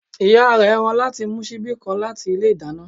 Ìyá rẹ̀ rán láti mú síbi kan láti ilé ìdáná